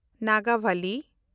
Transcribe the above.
ᱱᱟᱜᱟᱵᱚᱞᱤ